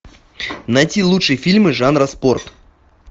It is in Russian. найти лучшие фильмы жанра спорт